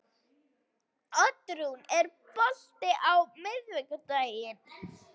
Oddrún, er bolti á miðvikudaginn?